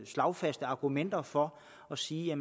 slagfaste argumenter for at sige at